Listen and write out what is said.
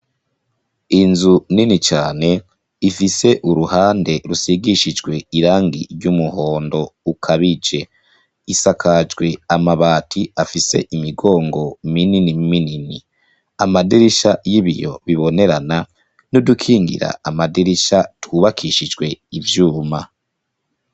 Inzu nini cane ifise uruhande rusigishijwe irangi ry'umuhondo ukabije, isakajwe amabati afise imigongo minini minini, amaderisha y'ibiyo bibonerana n'udukingira amaderisha tubakishijwe ivyuma.